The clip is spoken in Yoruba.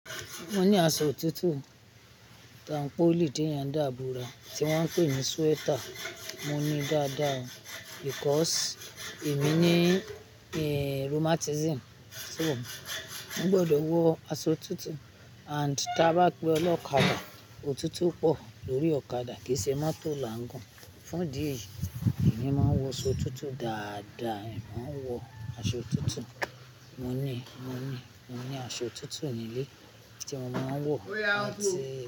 Mo ní aṣọ òtútù, tanpoli tí èyàn ń dà bora tí wọ́n ń pè ní sweater. Mo ní dáda o because èmi ní, rheumatism, so mo ń gbọdọ̀ wọ aṣọ òtútù and tí a bá pe ọlọ́kadà, òtútù pọ̀ lórí ọ̀kadà kìí ṣe mọ́tò là ń gùn. Fún di èyí, èmi máa ń wọ aṣọ òtútù dáda èmi i máa ń wọ aṣọ òtútù. Mo ní, mo ní, mo ní aṣọ òtútù ní ilé tí mo má wọ̀ àti.